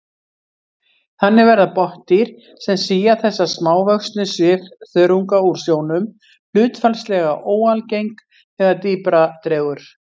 Þannig verða botndýr sem sía þessa smávöxnu svifþörunga úr sjónum hlutfallslega óalgeng þegar dýpra dregur.